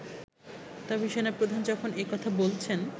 তবে সেনাপ্রধান যখন একথা বলছেন